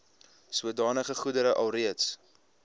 sodanige goedere alreeds